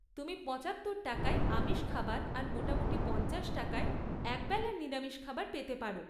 তুমি পঁচাত্তর টাকায় আমিষ খাবার আর মোটামুটি পঞ্চাশ টাকায় একবেলার নিরামিষ খাবার পেতে পার।